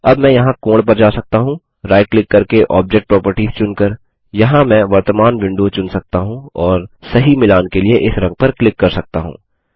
अब मैं यहाँ कोण पर जा सकता हूँ राइट क्लिक करके ऑब्जेक्ट प्रोपर्टिस चुनकर यहाँ मैं वर्तमान विंडो चुन सकता हूँ और सही मिलान के लिए इस रंग पर क्लिक कर सकता हूँ